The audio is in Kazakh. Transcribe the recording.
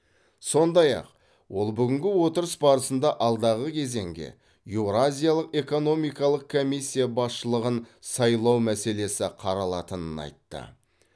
сондай ақ ол бүгінгі отырыс барысында алдағы кезеңге еуразиялық экономикалық комиссия басшылығын сайлау мәселесі қаралатынын айтты